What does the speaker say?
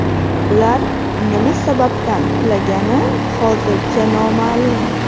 Ular nima sababdan qulagani hozircha noma’lum.